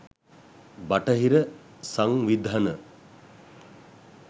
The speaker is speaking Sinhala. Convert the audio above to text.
බටහිර සංවිධන